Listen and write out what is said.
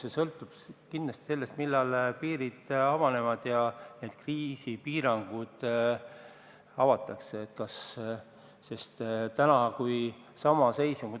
Palju sõltub kindlasti sellest, millal piirid avanevad ja kriisipiirangud lõpetatakse.